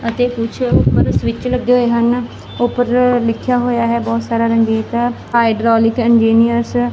ਅਤੇ ਕੁੱਛ ਊਪਰ ਸਵਿੱਚ ਲੱਗੇ ਹੋਏ ਹਨ ਉਪਰ ਲਿੱਖੇਯਾ ਹੋਇਆ ਹੈ ਬਹੁਤ ਸਾਰਾ ਰੰਗੀਨ ਜੇਹਾ ਹਾਈਡ੍ਰੌਲਿਕ ਇੰਜੀਨਿਯਰਸ ।